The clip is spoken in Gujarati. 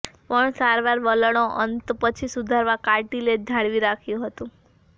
પણ સારવાર વલણો અંત પછી સુધારવા કાર્ટિલેજ જાળવી રાખ્યું હતું